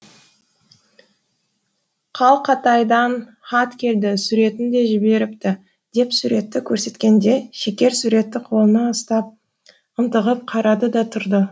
қалқатайдан хат келді суретін де жіберіпті деп суретті көрсеткенде шекер суретті қолына ұстап ынтығып қарады да тұрды